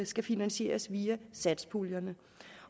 skal finansieres via satspuljerne